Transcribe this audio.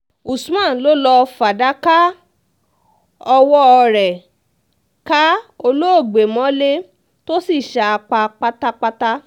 usman ló lọ́ọ́ fàdákà ọwọ́ rẹ̀ ká olóògbé mọ́lẹ̀ tó sì sá a pa pátápátá